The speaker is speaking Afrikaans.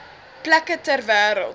plekke ter wêreld